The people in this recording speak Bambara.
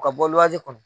O ka bɔ waati kɔnɔ